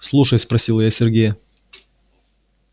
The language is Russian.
слушай спросила я сергея